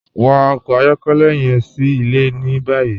Wa ọkọ ayọkẹlẹ yẹn sí ilẹ̀ ní báyì.